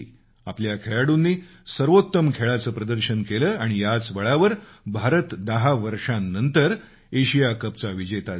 आपल्या खेळाडूंनी सर्वोत्तम खेळाचं प्रदर्शन केलं आणि याच बळावर भारत दहा वर्षानंतर एशिया कपचा चँम्पियन झाला